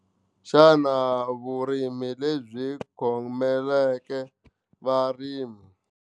Xana vurimi lebyi khomeleke varimi.